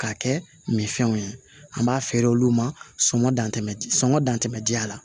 K'a kɛ minfɛnw ye an b'a feere olu ma sɔngɔ dan tɛ sɔngɔ dan tɛ diya la